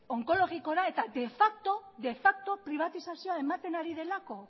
onkologikora eta de facto pribatizazioa ematen ari delako